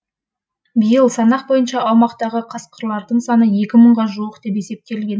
биыл санақ бойынша аймақтағы қасқырлардың саны мыңға жуық деп есептелген